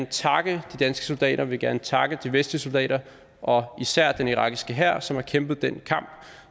takke de danske soldater vil gerne takke de vestlige soldater og især den irakiske hær som har kæmpet den kamp